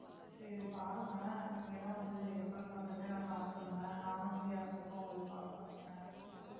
சரி பாருங்க நீங்க எல்லாம் வந்து எப்பன்னு பார்த்துட்டு எனக்கு call பண்ணுங்க நானும் free ஆ இருக்கப்ப உங்களுக்கு call பண்றேன்